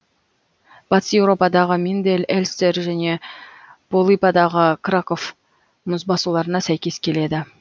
батыс еуропадағы миндель эльстер және полыпадағы краков мұзбасуларына сәйкес келеді